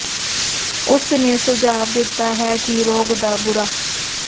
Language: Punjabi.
ਉਸ ਨੇ ਸੁਝਾਅ ਦਿੱਤਾ ਹੈ ਕਿ ਰੋਗ ਦਾ ਬੁਰਾ